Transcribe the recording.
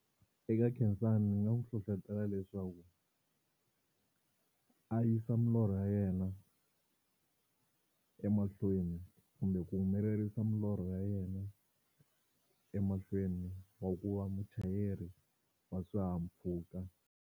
Eka khensani ndzi nga n'wi hlohletela leswaku a yisa milorho ya yena emahlweni kumbe ku humelerisa milorho ya yena emahlweni wa ku va muchayeri wa swihahampfhuka.